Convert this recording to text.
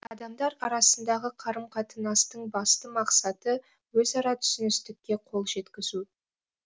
адамдар арасындағы қарым қатынастың басты мақсаты өзара түсіністікке қол жеткізу